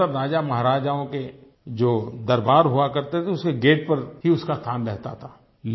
ज्यादातर राजामहाराजाओं के जो दरबार हुआ करते थे उसके गेट पर उसका स्थान रहता था